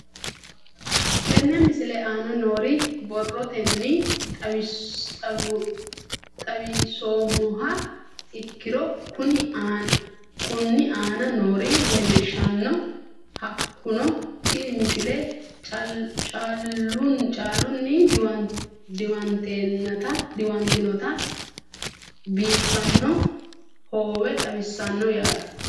Tenne misile aana noore borrotenni xawisummoha ikirro kunni aane noore leelishano. Hakunno tinni misile caalunni diwantinitta bifaano hoowe xawissano yaate.